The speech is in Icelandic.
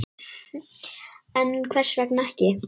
En hvers vegna ekki?